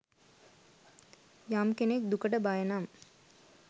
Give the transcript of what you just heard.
යම් කෙනෙක් දුකට බය නම්